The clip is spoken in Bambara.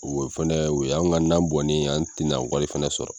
O fɛnɛ o y'an ka na bɔn ne ye, an tɛ na wari fɛnɛ sɔrɔ.